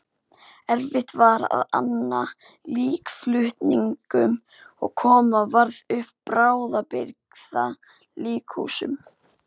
Erfitt var að anna líkflutningum og koma varð upp bráðabirgða líkhúsum.